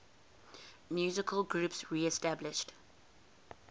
musical groups reestablished